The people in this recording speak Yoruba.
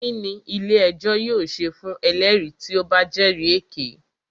Kínní ilé ẹjọ́ yóò ṣe fún ẹlẹ́rìí tí o bá jẹ́rì èké?